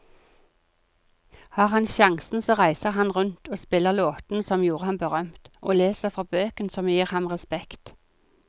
Har han sjansen så reiser han rundt og spiller låtene som gjorde ham berømt, og leser fra bøkene som gir ham respekt.